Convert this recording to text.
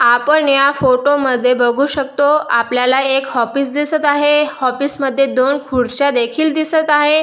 आपण या फोटो मध्ये बघू शकतो आपल्याला एक ऑफिस दिसत आहे ऑफिस मध्ये दोन खुडच्या देखील दिसत आहे.